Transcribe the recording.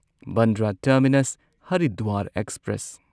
Bandra terminus Haridwar express